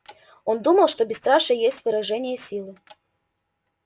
он думал что бесстрашие есть выражение силы